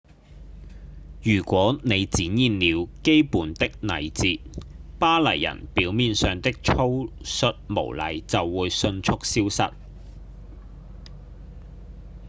如果您展現了基本的禮節巴黎人表面上的粗率無禮就會迅速消失